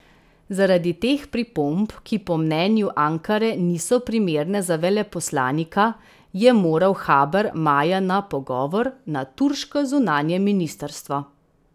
Zaradi teh pripomb, ki po mnenju Ankare niso primerne za veleposlanika, je moral Haber maja na pogovor na turško zunanje ministrstvo.